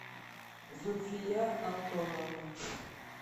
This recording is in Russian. зульфия антоновна